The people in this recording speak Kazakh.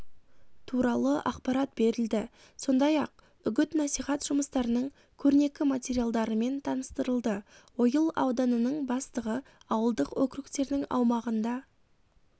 туралы ақпарат берілді сондай-ақ үгіт-насихат жұмыстарының көрнекі материалдарымен таныстырылды ойыл ауданының бастығы ауылдық округтердің аумағында